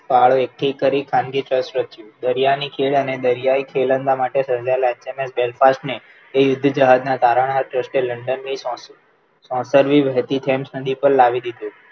ફાળો એક તો કરી ખાનગી ચર્ચ રચ્યું દરિયાની ખીણ અને દરિયાઈ ખેલૈયા માટે સર્જાયેલા એસએમએસ Belfast ને જે યુદ્ધ જહાજના તારણહાર તરીકે London ને સોંપ્યું સોત કરવી વહેતી Source નદી પર લાવી દીધું